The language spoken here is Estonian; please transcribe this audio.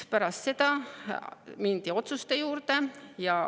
Pärast seda mindi otsuste juurde.